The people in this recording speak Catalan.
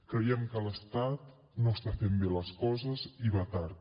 creiem que l’estat no està fent bé les coses i va tard